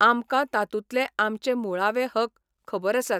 आमकां तातूंतले आमचे मुळावे हक खबर आसात.